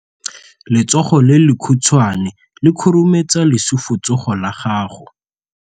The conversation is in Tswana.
Letsogo le lekhutshwane le khurumetsa lesufutsogo la gago.